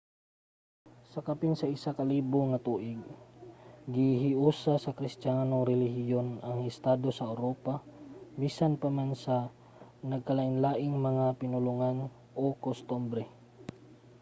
sa kapin sa isa ka libo ka tuig gihiusa sa kristiyanong relihiyon ang mga estado sa uropa bisan pa man sa nagkalainlaing mga pinulongan ug kostumbre